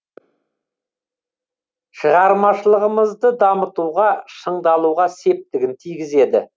шығармашылығымызды дамытуға шыңдалуға септігін тигізеді